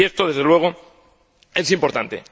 Y esto, desde luego, es importante.